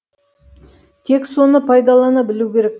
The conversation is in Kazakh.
тек соны пайдалана білу керек